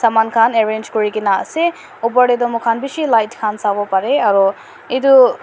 man khan arrange kurikaena ase opor tey toh moikhan bishi light khan sawo parae aro edu--